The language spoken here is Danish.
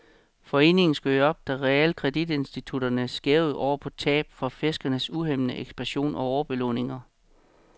Foreningen skød op, da realkreditinstitutterne skælvede oven på tab fra firsernes uhæmmede ekspansion og overbelåninger.